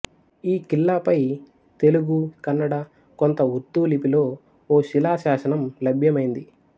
ఈ ఖిల్లాపై తెలుగు కన్నడ కొంత ఉర్దూ లిపిలో ఓ శిలా శాసనం లభ్యమైంది